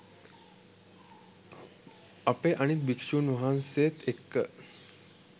අපේ අනිත් භික්‍ෂූන් වහන්සේත් එක්ක